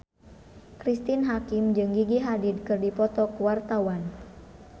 Cristine Hakim jeung Gigi Hadid keur dipoto ku wartawan